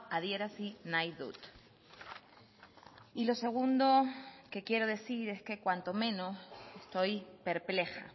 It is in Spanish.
adierazi nahi dut y lo segundo que quiero decir es que cuanto menos estoy perpleja